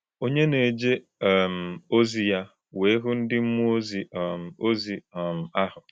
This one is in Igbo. Onye na-eje um ozi ya wee hụ ndị mmụọ ozi um ozi um ahụ.